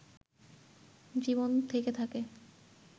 জীবন থেকে থাকে